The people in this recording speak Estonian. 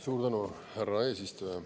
Suur tänu, härra eesistuja!